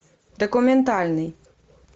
документальный